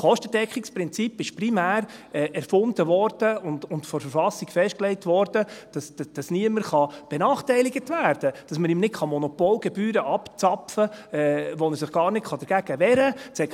Das Kostendeckungsprinzip wurde primär erfunden und von der Verfassung festgelegt, damit niemand benachteiligt werden kann, damit man ihm nicht Monopolgebühren abzapfen kann, gegen die er sich gar nicht wehren kann.